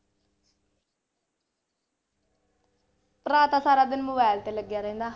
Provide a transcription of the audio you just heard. ਭਰਾ ਤਾਂ ਸਾਰਾ ਦਿਨ mobile ਤੇ ਲੱਗਿਆ ਰਹਿੰਦਾ।